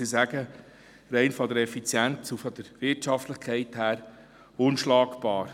Easy Jet sagt, dieser Flieger sei von der Effizienz und der Wirtschaftlichkeit her gesehen unschlagbar.